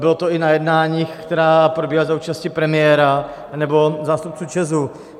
Bylo to i na jednáních, která probíhala za účasti premiéra nebo zástupců ČEZu.